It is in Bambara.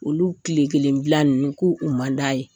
Olu tile kelen bila ninnu ko u man d'a ye.